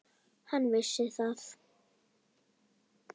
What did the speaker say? Hann vissi það.